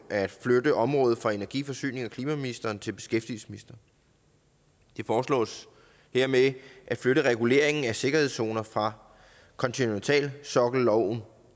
at flytte området fra energi forsynings og klimaministeren til beskæftigelsesministeren det foreslås dermed at flytte reguleringen af sikkerhedszoner fra kontinentalsokkelloven